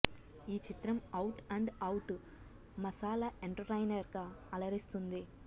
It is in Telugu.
ఈ చిత్రం out and out masala entertainer గా అలరిస్తుంది